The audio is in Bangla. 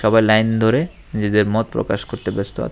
সবাই লাইন ধরে নিজেদের মত প্রকাশ করতে ব্যস্ত আ--